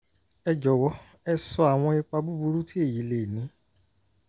ẹ jọwọ ẹ sọ àwọn ipa búburú tí èyí lè ní